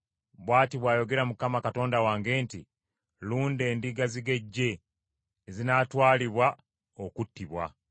Bw’ati bw’ayogera Mukama Katonda wange nti, “Lunda endiga zigejje ezinaatwalibwa okuttibwa.